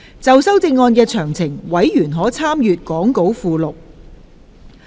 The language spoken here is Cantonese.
就修正案詳情，委員可參閱講稿附錄。